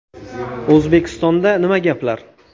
O‘zbekistonda nima gaplar?